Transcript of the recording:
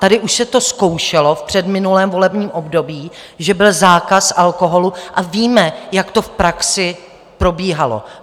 Tady už se to zkoušelo v předminulém volebním období, že byl zákaz alkoholu, a víme, jak to v praxi probíhalo.